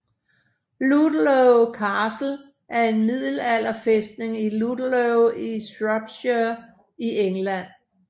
Ludlow Castle er en middelalderfæstning i Ludlow i Shropshire i England